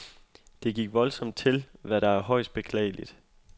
Det gik voldsomt til, hvad der er højst beklageligt.